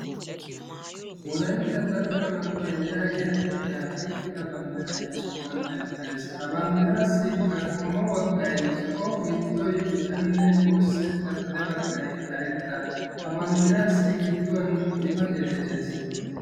Wolaytta dalgga manttiya yaagiya xifatiya oykkida banddirayi ha sohuwan beettes. Ha banddiraassiikka qommo baggayi zo'o giddo baggayi bicanne wurssetta xade baggayi karetta ha banddiraassi gidduwan xifatee de'es.